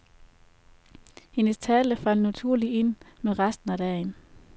Hendes tale faldt naturligt ind med resten af dagen.